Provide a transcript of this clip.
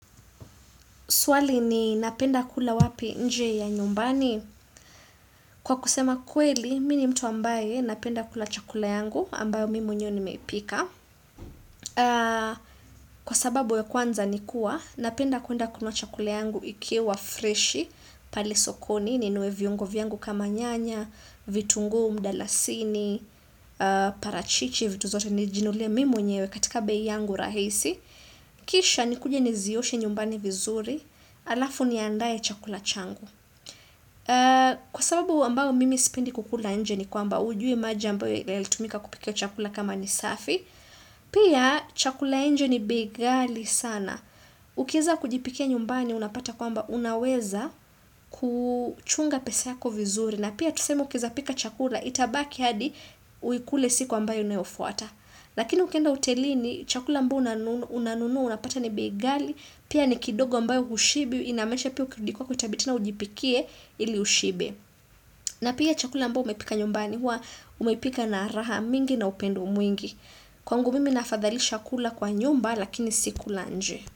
Swali ni napenda kula wapi nje ya nyumbani? Kwa kusema kweli, mi ni mtu ambaye napenda kula chakula yangu ambayo mimi mwenyew nimepika. Kwa sababu ya kwanza ni kuwa, napenda kuenda kununua chakula yangu ikiwa freshi, pale sokoni, ninunue viungo vyangu kama nyanya, vitunguu, mdalasini, parachichi, vitu zote, nijinule mimi mwenyewe katika bei yangu rahisi. Kisha ni kuje nizioshe nyumbani vizuri alafu niandae chakula changu. Kwa sababu ambayo mimi sipendi kukula nje ni kwamba hujui maji ambayo yalitumika kupika chakula kama ni safi pia chakula ya nje ni bei ghali sana ukiweza kujipikia nyumbani unapata kwamba unaweza kuchunga pesa yako vizuri na pia tuseme ukiweza pika chakula itabaki hadi uikule siku ambayo inayofuata lakini ukienda hotelini chakula ambayo unanunua unapata ni bei ghali, pia ni kidogo ambayo hushibi, inamaanisha pia ukirudi kwako itabidi tena ujipikie ili ushibe na pia chakula ambayo umepika nyumbani hua umeipika na raha mingi na upendo mwingi kwangu mimi nafadhalisha kula kwa nyumba lakini si kula nje.